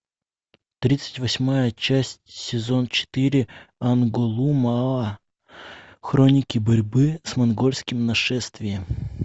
тридцать восьмая часть сезон четыре анголмуа хроники борьбы с монгольским нашествием